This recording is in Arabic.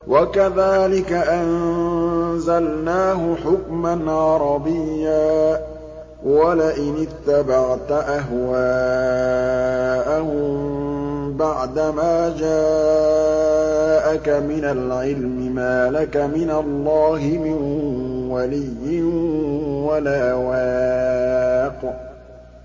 وَكَذَٰلِكَ أَنزَلْنَاهُ حُكْمًا عَرَبِيًّا ۚ وَلَئِنِ اتَّبَعْتَ أَهْوَاءَهُم بَعْدَمَا جَاءَكَ مِنَ الْعِلْمِ مَا لَكَ مِنَ اللَّهِ مِن وَلِيٍّ وَلَا وَاقٍ